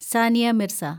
Sania Mirza